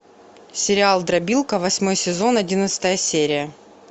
сериал дробилка восьмой сезон одиннадцатая серия